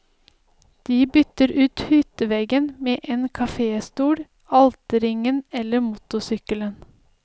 De bytter ut hytteveggen med en kaféstol, alterringen eller motorsykkelen.